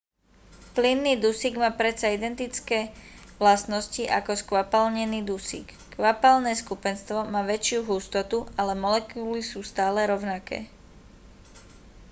plynný dusík má predsa identické vlastnosti ako skvapalnený dusík kvapalné skupenstvo má väčšiu hustotu ale molekuly sú stále rovnaké